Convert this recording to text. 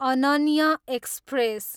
Ananya express